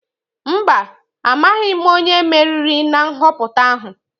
Mba, amaghị m onye meriri na nhọpụta ahụ.